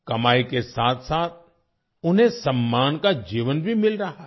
कमाई के साथ साथ उन्हें सम्मान का जीवन भी मिल रहा है